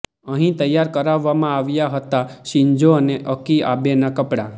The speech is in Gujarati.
અહીં તૈયાર કરાવવામાં આવ્યા હતા શિન્ઝો અને અકી આબેના કપડાં